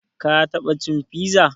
Ka taɓa cin piza?